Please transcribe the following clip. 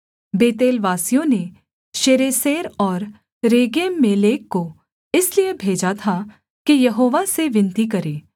बेतेलवासियों ने शरेसेर और रेगेम्मेलेक को इसलिए भेजा था कि यहोवा से विनती करें